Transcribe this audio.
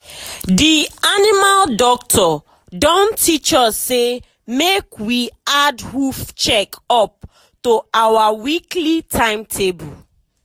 the animal doctor don teach us say make we add hoof check up to our weekly timetable.